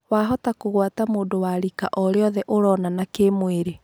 Wahota kũgwata mũndũ wa rika orĩothe ũronana kĩmwĩrĩ